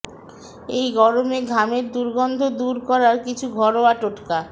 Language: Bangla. এই গরমে ঘামের দুর্গন্ধ দূর করার কিছু ঘরোয়া টোটকা